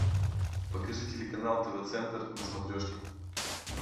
покажи телеканал тв центр на смотрешке